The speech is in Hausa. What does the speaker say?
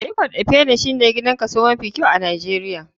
Ikot ekpene shine gidan kaso mafi kyau a nijeria.